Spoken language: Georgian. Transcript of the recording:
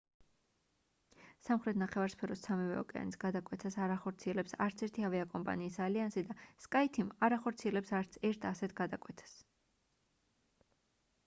სამხრეთ ნახევარსფეროს სამივე ოკეანის გადაკვეთას არ ახორციელებს არც ერთი ავიაკომპანიის ალიანსი და skyteam არ ახორციელებს არც ერთ ასეთ გადაკვეთას